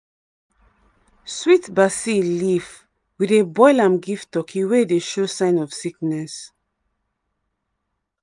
sweet basil leaf we dey boil am give turkey wey dey show sign of sickness.